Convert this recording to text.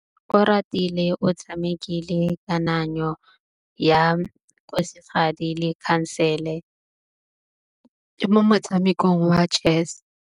Oratile o tshamekile kananyô ya kgosigadi le khasêlê mo motshamekong wa chess.